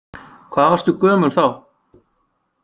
Hvað varstu gömul þá?